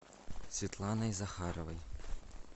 светланой захаровой